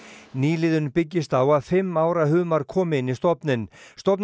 nýliðun byggist á að fimm ára humrar komi inn í stofninn stofninn